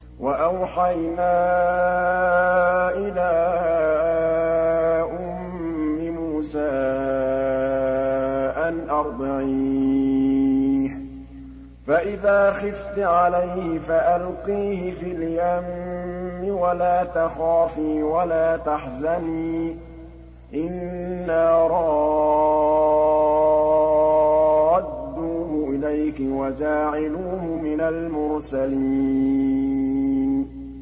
وَأَوْحَيْنَا إِلَىٰ أُمِّ مُوسَىٰ أَنْ أَرْضِعِيهِ ۖ فَإِذَا خِفْتِ عَلَيْهِ فَأَلْقِيهِ فِي الْيَمِّ وَلَا تَخَافِي وَلَا تَحْزَنِي ۖ إِنَّا رَادُّوهُ إِلَيْكِ وَجَاعِلُوهُ مِنَ الْمُرْسَلِينَ